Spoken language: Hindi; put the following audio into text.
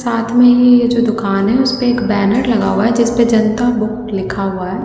साथ में ये जो दुकान है उस पे एक बैनर लगा हुआ है जिस पे जनता बुक लिखा हुआ है।